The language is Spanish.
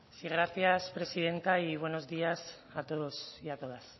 sí gracias presidenta y buenos días o todos y a todas